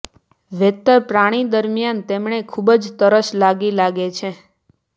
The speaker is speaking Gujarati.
વેતર પ્રાણી દરમિયાન તેમણે ખૂબ જ તરસ લાગી લાગે છે